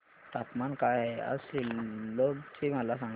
तापमान काय आहे आज सिल्लोड चे मला सांगा